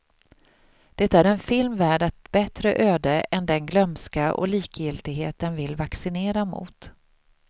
Det är en film värd ett bättre öde än den glömska och likgiltighet den vill vaccinera mot.